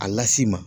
A lasi ma